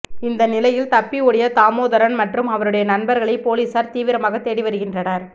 இந்த நிலையில் தப்பி ஓடிய தாமோதரன் மற்றும் அவருடைய நண்பர்களை பொலிஸார் தீவிரமாக தேடி வருகின்றனர்